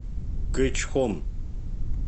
кэчхон